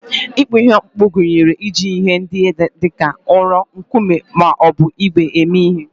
Ịkpụ ihe okpukpu gụnyere iji ihe ndị dị ka ụrọ, nkume, ma ọ bụ ígwè eme ihe.